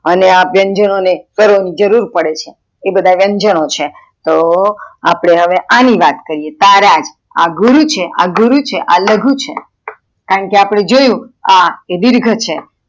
અને આ વ્યંજનો ને જરૂર પડે છે એ બધા વ્યન્જનો છે તો અપડે હવે અણી વાત કરીએ તારા આ ગુરુ છે આ લઘુ છે કારણ કે અપડે જોયું કે આ એ દિર્ઘ છે.